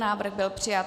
Návrh byl přijat.